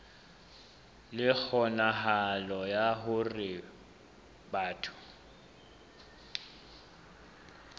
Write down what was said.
le kgonahalo ya hore batho